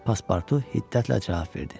Pasportu hiddətlə cavab verdi: